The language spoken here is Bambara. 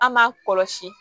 An m'a kɔlɔsi